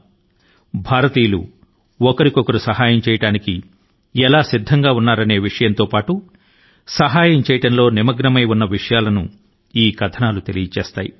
అవి భారతదేశం లో ప్రతి ఒక్కరు మరొక మనిషి కి ఒకరి స్తోమత మేరకు చేతనైనంత వరకు సాయపడటానికి చిత్తశుద్ది తో సంసిద్ధంగా ఉన్నారన్న సంగతి ని మనకు గుర్తు కు తెస్తున్నాయి